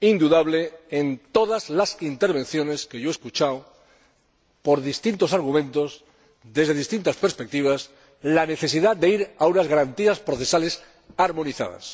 indudable en todas las intervenciones que yo he escuchado, por distintos argumentos, desde distintas perspectivas la necesidad de ir a unas garantías procesales armonizadas.